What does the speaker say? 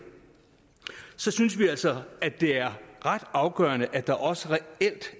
synes vi altså at det er ret afgørende at der også reelt